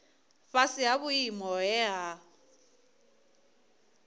fhasi ha vhuimo he ha